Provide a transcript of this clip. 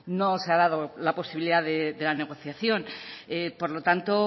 no se ha dado la posibilidad de la negociación por lo tanto